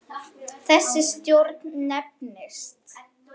Þessi stjórn nefnist